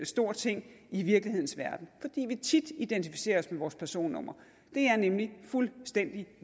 stor ting i virkelighedens verden fordi vi tit identificerer os med vores personnumre det er nemlig fuldstændig